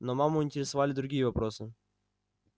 но маму интересовали другие вопросы